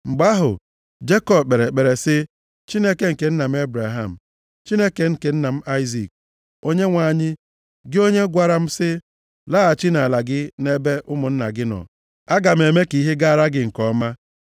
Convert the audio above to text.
Mgbe ahụ, Jekọb kpere ekpere sị, “Chineke nke nna m Ebraham, Chineke nke nna m Aịzik, Onyenwe anyị, gị onye gwara m sị, ‘Laghachi nʼala gị na nʼebe ụmụnna gị nọ, aga m eme ka ihe gaara gị nke ọma.’